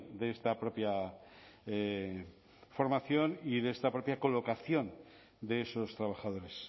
de esta propia formación y de esta propia colocación de esos trabajadores